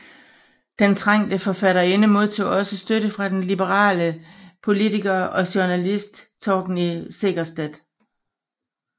Den trængte forfatterinde modtog også støtte fra den liberale politiker og journalist Torgny Segerstedt